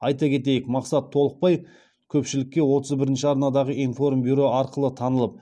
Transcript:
айта кетейік мақсат толықбай көпшілікке отыз бірінші арнадағы информбюро арқылы танылып